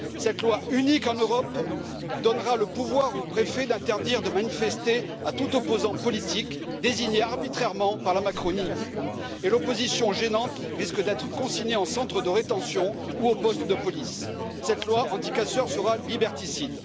Cette loi, unique en Europe, donnera le pouvoir aux préfets d'interdire de manifester à tout opposant politique désigné arbitrairement par la Macronie et l'opposition gênante risque d'être consignée en centre de rétention ou au poste de police. Cette loi anticasseurs sera liberticide.